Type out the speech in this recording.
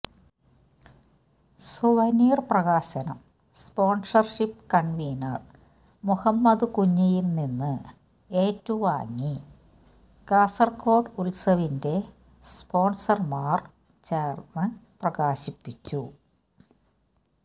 souvenir പ്രകാശനം sponsorship convener Muhammad കുഞ്ഞിയിൽ നിന്ന് ഏറ്റു വാങ്ങി കാസർഗോഡ് ഉത്സവിന്റെ സ്പോൺസർമാർ ചേർന്ന്പ്രകാശിപ്പിച്ചു